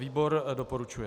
Výbor doporučuje.